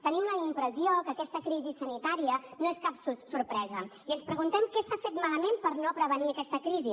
tenim la impressió que aquesta crisi sanitària no és cap sorpresa i ens preguntem què s’ha fet malament per no prevenir aquesta crisi